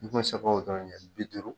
N gɔ ye se k'o dɔrɔn ne kɛ bi duuru